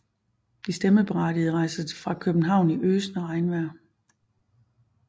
De stemmeberettigede rejser fra København i øsende regn